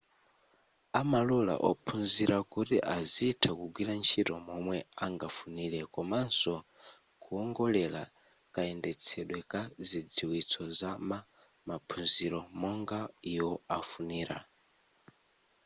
amalola ophunzira kuti azitha kugwira ntchito momwe angafunire komanso kuongolera kayendetsedwe ka zidziwitso za ma maphunzilo monga iwo afunira